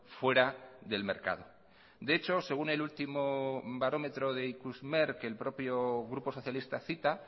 fuera del mercado de hecho según el último barómetro de ikusmer que el propio grupo socialista cita